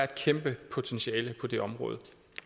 kæmpe potentiale på det område